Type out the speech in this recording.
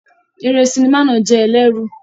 Eré sinimá náà jẹ́ ẹlẹ́rù.